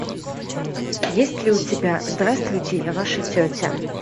есть ли у тебя здравствуйте я ваша тетя